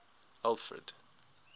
alfred